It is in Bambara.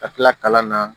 Ka kila kalan na